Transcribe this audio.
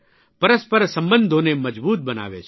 પરસ્પર સંબંધોને મજબૂત બનાવે છે